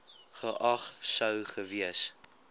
geag sou gewees